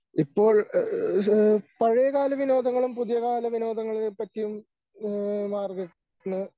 ഇപ്പോൾ ഏഹ് പഴയകാല വിനോദങ്ങളും പുതിയകാല വിനോദങ്ങളെ പറ്റിയും ഏഹ് മാർഗരറ്റിന്